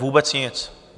Vůbec nic!